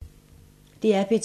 DR P2